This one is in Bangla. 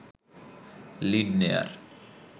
লিড নেয়ার